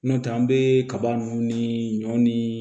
N'o tɛ an bɛ kaba nunnu ni ɲɔ ni